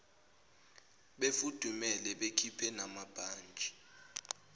befudumele bekhiphe namabhantshi